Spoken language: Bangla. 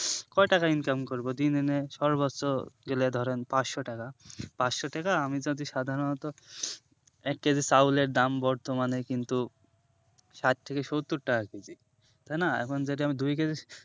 কয়টাকা income করব দিন এনে সর্বোচ যদি ধরেন পাঁচশো টাকা পাঁচশো টাকা আমি যদি সাধারণত এক KG চাউল এর দাম বর্তমানে কিন্ত ষাট থেকে সত্তর টাকা KG তাই না এখন যদি আমি দুই KG